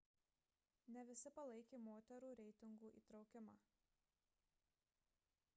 ne visi palaikė moterų reitingų įtraukimą